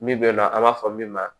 Min bɛ nɔ an b'a fɔ min ma